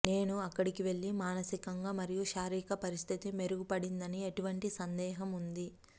నేను అక్కడ వెళ్ళి మానసిక మరియు శారీరక పరిస్థితి మెరుగుపడిందని ఎటువంటి సందేహం ఉంది